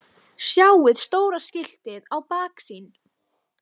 Sjáið stóra skiltið í baksýn.